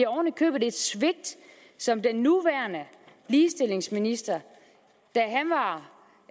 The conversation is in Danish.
oven i købet et svigt som den nuværende ligestillingsminister